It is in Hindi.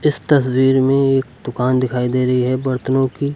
इस तस्वीर में एक दुकान दिखाई दे रही है बर्तनों की।